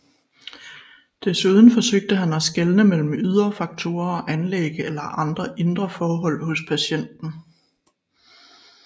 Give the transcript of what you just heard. Desuden forsøgte han at skelne mellem ydre faktorer og anlæg eller andre indre forhold hos patienten